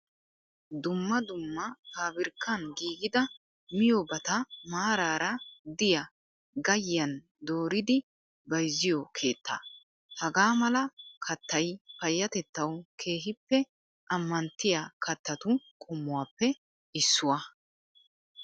Dmma dumma pabirkkan giigida miyoobata maaraara diyaa gayyiyaan dooridi bayizziyoo keettaa. Hagaa mala kattayi payyatettawu keehippe ammanttiyaa kattatu qommuwaappe issuwaa.